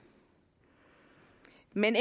men